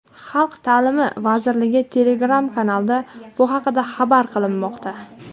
Xalq ta’limi vazirligi Telegram-kanalida bu haqda xabar qilinmoqda .